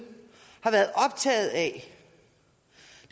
har været optaget af